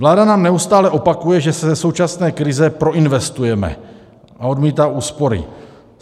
Vláda nám neustále opakuje, že se ze současné krize proinvestujeme, a odmítá úspory.